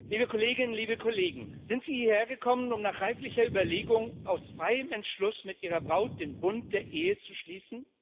Herr Präsident, liebe Kolleginnen, liebe Kollegen! Sind Sie hierher gekommen, um nach reiflicher Überlegung und aus freiem Entschluss mit Ihrer Braut den Bund der Ehe zu schließen?